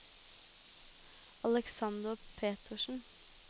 Aleksander Petersen